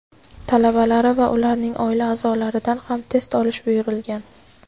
talabalari va ularning oila a’zolaridan ham test olish buyurilgan.